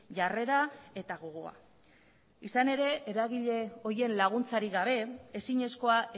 jarrera eta gogoa izan ere eragile horien laguntzarik gabe ezinezkoa